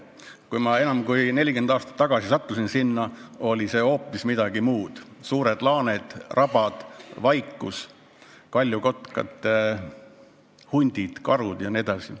Kui ma enam kui 40 aastat tagasi sinna sattusin, oli see hoopis midagi muud – suured laaned, rabad, vaikus, kaljukotkad, hundid, karud jne.